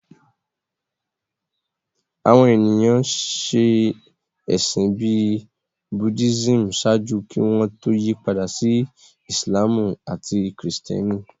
Àwọn ènìyàn ṣe ẹ̀sìn bíi Buddhism ṣáájú kí wọ́n tó yí padà sí Ìsìlámù àti Kìrìtẹ́nì